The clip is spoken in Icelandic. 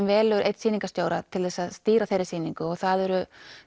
velur einn sýningarstjóra til að stýra þeirri sýningu og það eru